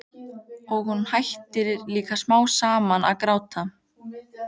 Og hún hættir líka smám saman að gráta.